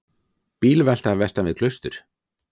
Bílvelta vestan við Klaustur